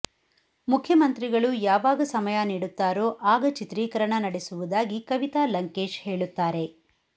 ಮುಖ್ಯಮಂತ್ರಿಗಳು ಯಾವಾಗ ಸಮಯ ನೀಡುತ್ತಾರೋ ಆಗ ಚಿತ್ರೀಕರಣ ನಡೆಸುವುದಾಗಿ ಕವಿತಾ ಲಂಕೇಶ್ ಹೇಳುತ್ತಾರೆ